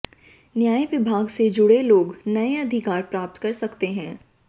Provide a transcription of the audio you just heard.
न्याय विभाग से जुड़े लोग नए अधिकार प्राप्त कर सकते हैं